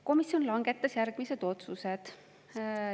Komisjon langetas järgmised otsused.